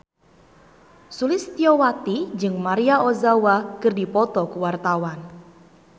Sulistyowati jeung Maria Ozawa keur dipoto ku wartawan